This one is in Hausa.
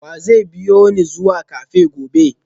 wa zai biyo ni zuwa cafe gobe?